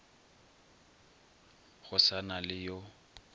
go sa na le yo